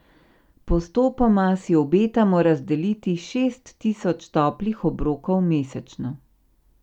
Postopoma si obetamo razdeliti šest tisoč toplih obrokov mesečno.